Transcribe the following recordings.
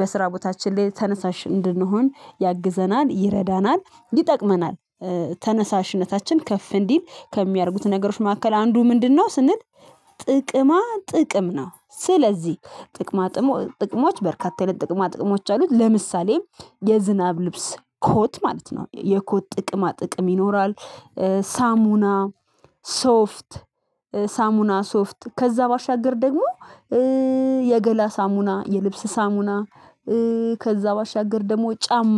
በስራ ቦታችን ላይ ተነሳሽ እንድንሆን ያግዘናል ይረዳናል ይጠቅመናል። ተነሳሽነታችን ከፍ እንዲል ከሚያደርጉት ነገሮች መካከል አንዱ ምንድነው ስንል? ጥቅማ ጥቅም ነው። ስለዚህ ጥቅማ ጥቅሞች በርካታ የለ ጥቅማ ጥቅሞች አሉት። ለምሳሌ የዝናብ ልብስ ኮት ማለት ነው የኮት ጥቅማ ጥቅም ይኖራል። ሳሙና ሶፍት ሳሙና ሶፍት ከዚያ ባሻገር ደግሞ የገላ ሳሙና የልብስ ሳሙና ከዚያ ባሻገር ደግሞ ጫማ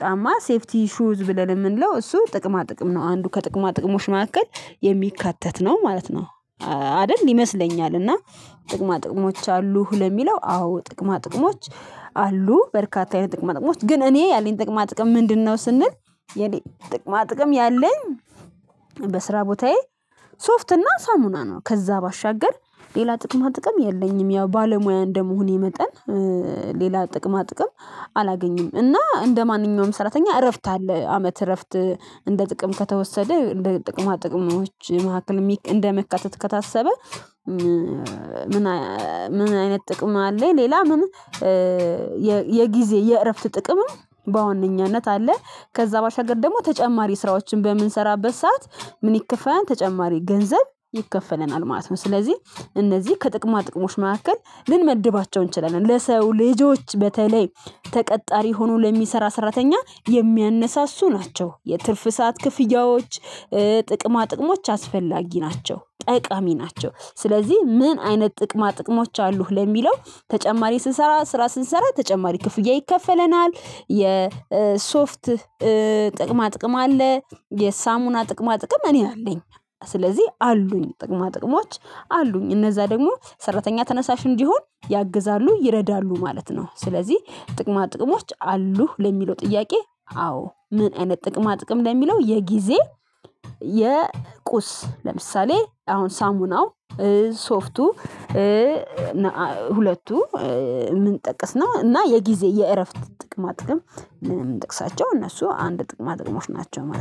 ጫማ ሴፍቲ ሹዝ ብለን የምንለው እሱ ጥቅማ ጥቅም ነው። አንዱ ከጥቅማ ጥቅሞች መካከል የሚካተት ነው ማለት ነው። አይደል ይመስለኛል። እና ጥቅማ ጥቅሞች አሉህ ለሚለው? አዎ ጥቅማ ጥቅሞች አሉ በርካታ አይነት ጥቅማ ጥቅሞች ግን እኔ ያለኝ ጥቅማ ጥቅም ምንድነው? ስንል የኔ ጥቅማ ጥቅም ያለኝ በስራ ቦታዬ ሶፍት እና ሳሙና ነው። ከዚያ ባሻገር ሌላ ጥቅማ ጥቅም የለኝም። ያው ባለሙያ እንደመሆን መጠን ሌላ ጥቅማ ጥቅም አላገኝም። እና እንደማንኛውም ሰራተኛ እረፍት አለ አመት እረፍት እንደ ጥቅም ከተወሰደ እንደ ጥቅማ ጥቅሞች መካከል እንደ መከተት ከታሰበ። ምን ምን አይነት ጥቅም አለኝ? ሌላ ምን? የጊዜ የእረፍት ጥቅም በዋነኛነት አለ። ከዚያ ባሻገር ደግሞ ተጨማሪ ስራዎችን በምንሰራበት ሰዓት ምን ይከፋለል ተጨማሪ ገንዘብ ይከፈለናል ማለት ነው። ስለዚህ እነዚህ ከጥቅማ ጥቅሞች መካከል ልንመድባቸው እንችላለን። ለሰው ልጆች በተለይ ተቀጣሪ ሆኖ ለሚሰራ ሰራተኛ የሚያነሳሱ ናቸው። የትርፍ ሰዓት ክፍያዎች ጥቅማ ጥቅሞች አስፈላጊ ናቸው ጠቃሚ ናቸው። ስለዚህ ምን አይነት ጥቅማ ጥቅሞች አሉህ ለሚለው? ተጨማሪ ስንሰራ ስራ ስንሰራ ተጨማሪ ክፍያ ይከፈለናል የሶፍት ጥቅማ ጥቅም አለ። የሳሙና ጥቅማ ጥቅም እኔ አለኝ። ስለዚህ አሉኝ ጥቅማ ጥቅሞች አሉኝ እነዚያ ደግሞ ሰራተኛ ተነሳሽ እንዲሆን ያግዛሉ ይረዳሉ ማለት ነው። ስለዚህ ጥቅማ ጥቅሞች አሉ። ለሚለው ጥያቄ አዎ ምን አይነት ጥቅመ ጥቅም ለሚለው? የጊዜ የቁስ ለምሳሌ አሁን ሳሙናው ሶፍቱ ሁለቱ ምጠቀስ ነው እና የጊዜ የእረፍት ጥቅማ ጥቅም ብለን የምንጠቅሳቸው እነሱ አንድ ጥቅማ ደግሞሽ ናቸው ማለት ነው